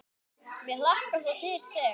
Mig hlakkar svo til þegar.